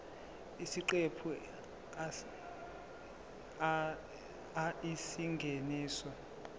isiqephu a isingeniso